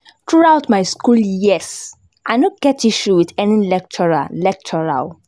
through out my school years, I no get issue with any lecturer lecturer o